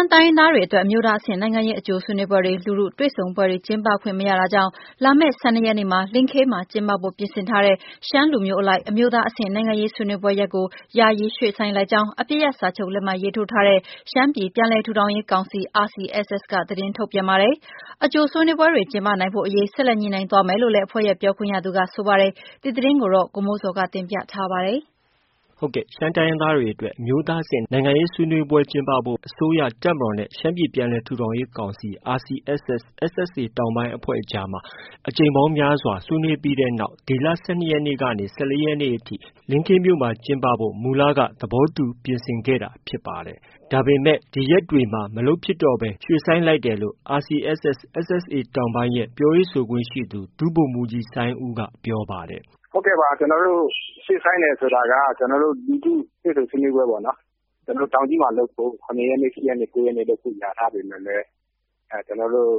င်းရင်းသားတွေအတွက် အမျိုးသားအဆင့်နိုင်ငံရေး အကြိုဆွေးနွေးပွဲတွေ လူထုတွေ့ဆုံပွဲတွေ ကျင်းပခွင့်မရတာကြောင့် လာမယ့် ၁၂ရက်နေ့မှာ လင်းခေးမှာ ကျင်းပဖို့ ပြင်ဆင်ထားတဲ့ ရှမ်းလူမျိုးအလိုက် အမျိုးသားအဆင့် နိုင်ငံရေးဆွေးနွေးပွဲရက်ကို ယာယီရွေ့ဆိုင်းလိုက်ကြောင်း အပစ်ရပ်စာချုပ်လက်မှတ်ရေးထိုးထားတဲ့ ရှမ်းပြည်ပြန်လည်ထူထောင်ရေးကောင်စီ RCSS က သတင်းထုတ်ပြန်ပါတယ်။ အကြိုဆွေးနွေးပွဲတွေကျင်းပနိုင်ဖို့အရေးကို ဆက်လက်ညှိနှိုင်းသွားမယ်လို့လည်း အဖွဲ့ရဲ့ ပြောခွင့်ရသူက ပြောပါတယ်။ ဒီသတင်းကိုတော့ ဗွီအိုအေမြန်မာပိုင်းရဲ့သတင်းထောက် ကိုမိုးဇော်က တင်ပြထားပါတယ်။ ရှမ်းတိုင်းရင်းသားတွေအတွက် အမျိုးသားအဆင့် နိုင်ငံရေးဆွေးနွေးပွဲကျင်းပဖို့အတွက် အစိုးရ၊ တပ်မတော်နဲ့ ရှမ်းပြည်ပြန်လည်ထူထောင်ရေးကောင်စီ RCSS/SSA တောင်ပိုင်းအကြားမှာ အကြိမ်ပေါင်းများစွာ ဆွေးနွေးပြီးတဲ့နောက်မှာ ဒီလ ၁၂ရက်နေ့ ၁၄ရက်နေ့အထိ လင်းခေးမြို့မှာ ကျင်းပဖို့ မူလက ပြင်ဆင်ထားခဲ့တာဖြစ်ပါတယ်။ ဒါပေမဲ့ ဒီရက်တွေမှာ မလုပ်ဖြစ်တော့ဘဲ ရွှေ့ဆိုင်းလိုက်တယ်လို့ RCSS/SSA တောင်ပိုင်းရဲ့ ပြောရေးဆိုခွင့်ရှိသူ ဒုဗိုလ်မှုးကြီး စိုင်းဦးက ပြောပါတယ်။ "ဟုတ်ကဲ့ပါ ကျနော်တို့ ရွှေ့ဆိုင်းတယ်ဆိုတာက ကျနော်တို့ လူထုတွေ့ဆုံဆွေးနွေးပွဲပေါ့နော်၊ ကျနော်တို့ တောင်ကြီးမှာ လုပ်ဖို့ ကျနော်တို့ ၇ ရက်နေ့၊ ၈ ရက်နေ့လုပ်ဖို့ ကြေညာထားပေမယ့်လည်း ကျနော်တို့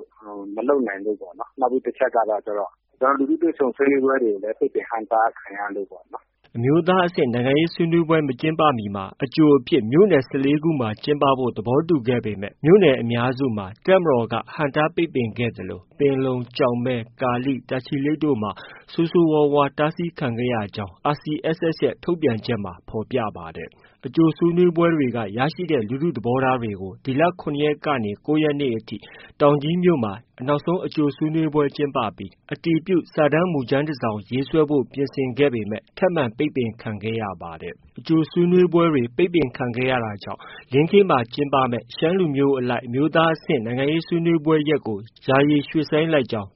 မလုပ်နိုင်လို့ပေါ့နော်။ နောက်ပြီး တချက်ကတော့ ကျနော်တို့ လူထုတွေ့ဆုံဆွေးနွေးပွဲတွေကိုလည်း ပိတ်ပင်ဟန့်တားခံရလို့ပေါ့နော်။" အမျိုးသားအဆင့် နိုင်ငံရေးဆွေးနွေးပွဲ မကျင်းပမီမှာ အကြိုအဖြစ် မြို့နယ် ၁၄ ခုမှာ ကျင်းပဖို့ သဘောတူညီခဲ့ပေမဲ့ မြို့နယ်အများစုမှာ တပ်မတော်က ဟန့်တားပိတ်ပင်ခဲ့သလို ပင်လုံ၊ ကျောက်မဲ၊ ကာလိ၊ တာချီလိတ်တို့မှာ ဆိုးဆိုးဝါးဝါး တားဆီးခံခဲ့ရကြောင်း RCSSရဲ့ ထုတ်ပြန်ချက်မှာ ဖော်ပြပါတယ်။ အကြိုဆွေးနွေးပွဲတွေက ရရှိတဲ့ လူထုသဘောထားတွေကို ဒီလ ၇ရက်နေ့က ၉ရက်အထိ တောင်ကြီးမြို့မှာ နောက်ဆုံးအကြိုဆွေးနွေးပွဲကျင်းပပြီး အတည်ပြုစာတမ်းမူကြမ်းတစောင်ရေးဆွဲဖို့ ပြင်ဆင်ခဲ့ပေမဲ့ ထပ်မံပိတ်ပင်ခံခဲ့ရပါတယ်၊ ဒီလို အကြိုဆွေးနွေးပွဲတွေ ပိတ်ပင်ခံရတာကြောင့် လင်းခေးမှာ ကျင်းပမယ့် ရှမ်းလူမျိုးအလိုက် အမျိုးသားအဆင့် နိုင်ငံရေးဆွေးနွေးပွဲရက်ကို ယာယီရွှေ့ဆိုင်းကြောင်း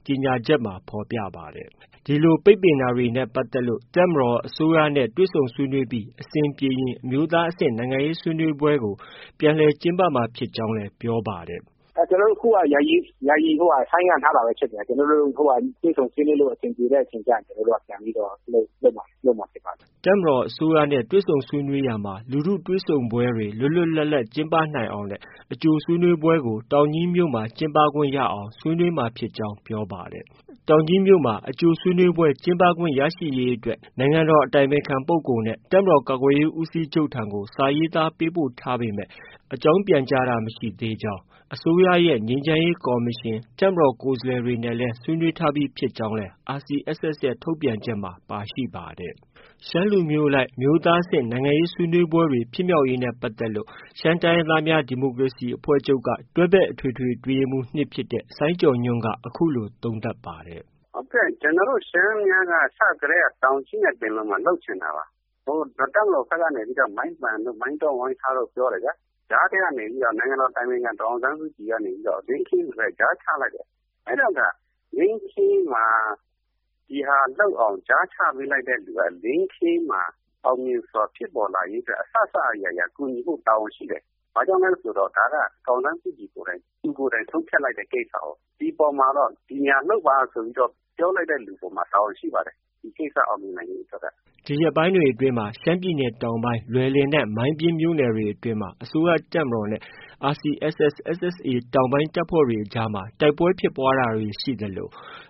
ဖောြ်ပပါတယ်။ ဒီလို ပိတ်ပင်တာတွေနဲ့ပတ်သက်လို့ တပ်မတော်၊ အစိုးရနဲ့ တွေ့ဆုံဆွေးနွေးပြီး အဆင်ပြေရင် အမျိုးသားအဆင့် နိုင်ငံရေးဆွေးနွေးပွဲကို ပြန်လည်ကျင်းပမှာဖြစ်ကြောင်းလည်း ပြောပါတယ်။ "ကျနော်တို့အခုက ယာယီဆိုင်းငံ့ထားတာပဲဖြစ်တယ်။ ကျနော်တို့ တွေ့ဆုံဆွေးနွေးလို့ အဆင်ပြေတဲ့အချိန်ကျရင် ကျနေ်ာတို့ ပြန်ပြီးတော့ လုပ်မှာဖြစ်ပါတယ်။" တပ်မတော်၊ အစိုးရနဲ့ တွေ့ဆုံဆွေးနွေးရာမှာ လူထုတွေ့ဆုံပွဲတွေ လွတ်လွတ်လပ်လပ်ကျင်းပနိုင်အောင်နဲ့ အကြိုဆွေးနွေးပွဲကို တောင်ကြီးမှာ ကျင်းပခွင့်ရအောင် ဆွေးနွေးမှာဖြစ်ကြောင်း ပြောပါတယ်။ တောင်ကြီးမြို့မှာ အကြိုဆွေးနွေးပွဲကျင်းပခွင့် ရရှိရေးအတွက် နိုင်ငံတော်အတိုင်ပင်ခံပုဂ္ဂိုလ်နဲ့ တပ်မတော်ကာကွယ်ရေးဦးစီးချုပ်ထံကို စာရေးသားပေးပို့ထားပေမဲ့ အကြောင်းပြန်ကြားချက်မရရှိသေးကြောင်း၊ အစိုးရရဲ့ ငြိမ်းချမ်းရေးကော်မရှင်၊ တပ်မတော်ကိုယ်စားလှယ်တို့နဲ့လည်း ဆွေးနွေးထားပြီးဖြစ်ကြောင်းလည်း RCSS ရဲ့ ထုတ်ပြန်ချက်မှာ ပါရှိပါတယ်။ ရှမ်းလူမျိုးအလိုက် အမျိုးသားအဆင့် နိုင်ငံရေးဆွေးနွေးတွေဖြစ်မြောက်ရေးနဲ့ပတ်သက်လို့ ရှမ်းတိုင်းရင်းသားများဒီမိုကရေစီအဖွဲ့ချုပ်က တွဲဘက်အထွေထွေအတွင်းရေးမှုး၂ ဖြစ်တဲ့ စိုင်းကျော်ညွှန့်က အခုလို သုံးသပ်ပါတယ်။ "ဟုတ်ကဲ့ ကျနော်တို့ရှမ်းများက အစကတည်းက တောင်ကြီးနဲ့ ပင်လုံမှာလုပ်ချင်တာပါ။ တပ်မတော်ပိုင်းကနေပြီးတော့ မိုင်းပန်တို့ မှာပြောတယ်ခင်ဗျ။ ကြားထဲကနေပြီးတော့ နိုင်ငံတော်အတိုင်ပင်ခံ ဒေါ်အောင်ဆန်းစုကြည်ကနေပြီးတော့ လင်းခေးမှာ ကြားချလိုက်တယ် ။ အဲဒီတော့ လင်းခေးမှာ ဒီဟာလုပ်အောင် ကြားချပေးလိုက်တဲ့လင်းခေးမှာ အောင်မြင်စွာဖြစ်ပေါ်လာရေးအတွက် အစစအရာရာ ကူညီဖို့ တာဝန်ရှိတယ်။ ဘာကြောင့်လဲဆိုတော့ ဒါက ဒေါ်အောင်ဆန်းစုကြည် သူကိုယ်တိုင် ဆုံးဖြတ်လိုက်တဲ့ ကိစ္စကို၊ ဒီအပေါ်မှာကတော့ ဒီနေရာလုပ်ပါဆိုတဲ့ ကိစ္စကို ပြောလိုက်တဲ့သူအပေါ်မှာ တာဝန်ရှိပါတယ်။ ဒီကိစ္စကို အောင်မြင်နိုင်ဖို့အတွက်က။" ဒီရက်ပိုင်းတွေအတွင်းမှာတော့ ရှမ်းပြည်နယ်တောင်ပိုင်း လွယ်လင်နဲ့ မိုင်းပျဉ်းမြို့နယ်တွေအတွင်းမှာ အစိုးရတပ်မတော်နဲ့ RCSS-SSA တောင်ပိုင်းတပ်ဖွဲ့တွေအကြားမှာ တိုက်ပွဲဖြစ်ပွားတာတွေရှိသလို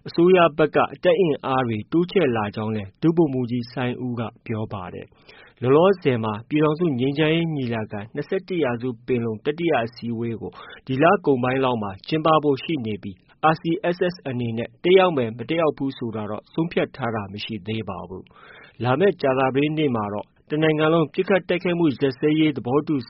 အစိုးရဖက်က တပ်အင်အားတွေ တိုးချလာကြောင်းလည်း ဒုဗိုလ်မှုးကြီး စိုင်းဦးက ပြောပါတယ်။ လောလောဆည်မှာတော့ ပြည်ထောင်စုငြိမ်းချမ်းရေးညီလာခံ- ၂၁ရာစုပင်လုံ တတိယအစည်းအဝေးကို ဒီလအကုန်ပိုင်းလောက်မှာ ကျင်းပဖို့ ရှိနေပြီး RCSS အနေနဲ့ တက်ရောက်မယ် မတက်ရောက်ဖူးဆိုတာ ဆုံးဖြတ်ထားတာတော့ မရှိသေးပါဘူး။ လာမယ့် ကြာသပတေးနေ့မှာတော့ တနိုင်ငံလုံးပစ်ခတ်တိုက်ခိုက်မှုရပ်စဲရေး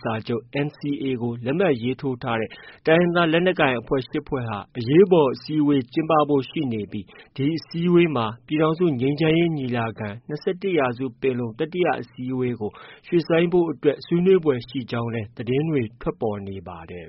စာချုပ် NCA ကို လက်မှတ်ရေးထိုးထားတဲ့ တိုင်းရင်းသားလက်နက်ကိုင်အဖွဲ့ ၈ဖွဲ့ဟာ အရေးပေါ်အစည်းအဝေးကျင်းပဖို့ ရှိနေပြီး ဒီအစည်းအဝေးမှာ ပြည်ထောင်စုငြိမ်းချမ်းရေးညီလာခံ- ၂၁ရာစုပင်လုံ တတိယအစည်းအဝေးကို ရက်ရွှေ့ဆိုင်းဖို့ ဆွေးနွေးဖွယ်ရှိကြောင်း သတင်းတွေလည်း ထွက်ပေါ်နေပါတယ်